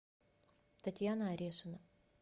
татьяна орешина